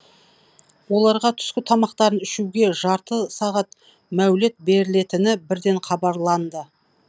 оларға түскі тамақтарын ішуге жарты сағат мәулет берілетіні бірден хабарланды